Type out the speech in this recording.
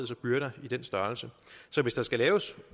sig byrder i den størrelse så hvis der skal laves